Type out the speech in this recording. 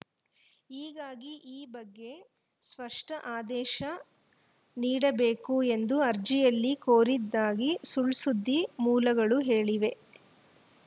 ಹೀಗಾಗಿ ಈ ಬಗ್ಗೆ ಸ್ಪಷ್ಟಆದೇಶ ನೀಡಬೇಕು ಎಂದು ಅರ್ಜಿಯಲ್ಲಿ ಕೋರಿದ್ದಾಗಿ ಸುಳ್‌ಸುದ್ದಿ ಮೂಲಗಳು ಹೇಳಿವೆ